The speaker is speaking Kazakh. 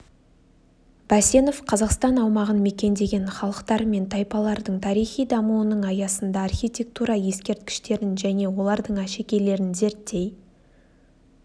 бәсенов қазақстан аумағын мекендеген халықтар мен тайпалардың тарихи дамуының аясында архитектура ескерткіштерін және олардың әшекейлерін зерттей